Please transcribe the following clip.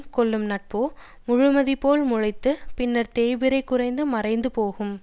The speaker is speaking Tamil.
கொள்ளும் நட்போ முழுமதிபோல் முளைத்துப் பின்னர் தேய்பிறையாகக் குறைந்து மறைந்து போகும்